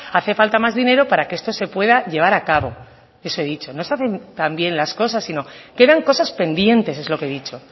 hace falta más dinero para que esto se pueda llevar a cabo eso he dicho no se hacen tan bien las cosas sino quedan cosas pendientes es lo que he dicho